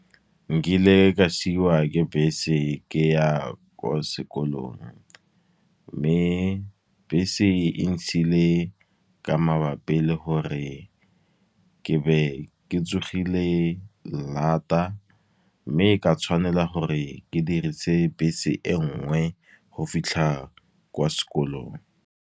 Nkile ka siwa ke bese ke ya kwa sekolong. Mme bese e ntshile ka mabapi le gore ke be ke tsogile lata, mme ka tshwanela gore ke dirise bese e nngwe go fitlha kwa sekolong.